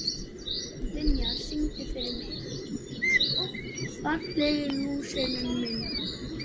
Vinjar, syngdu fyrir mig „Fallegi lúserinn minn“.